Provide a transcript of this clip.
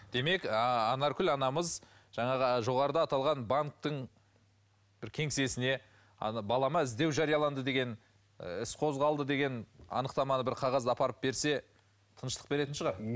демек анаркүл анамыз жаңағы жоғарыда аталған банктің бір кеңсесіне ана балама іздеу жарияланды деген іс қозғалды деген анықтаманы бір қағазды апарып берсе тыныштық беретін шығар